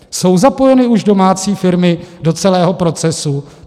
Jsou zapojeny už domácí firmy do celého procesu?